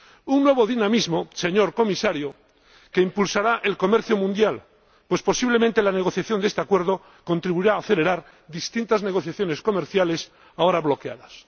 Un nuevo dinamismo, señor Comisario, que impulsará el comercio mundial, pues posiblemente la negociación de este acuerdo contribuirá a acelerar distintas negociaciones comerciales ahora bloqueadas.